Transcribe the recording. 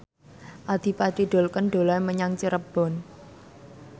Adipati Dolken dolan menyang Cirebon